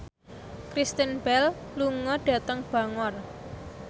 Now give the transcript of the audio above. Kristen Bell lunga dhateng Bangor